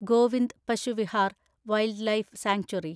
Govind Pashu Vihar wildlife sanctuary